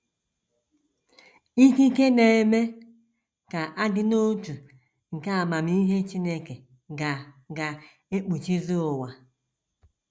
Ikike na - eme ka a dị n’otu nke amamihe Chineke ga ga - ekpuchizi ụwa.